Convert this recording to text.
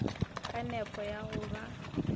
ka nepo ya go ba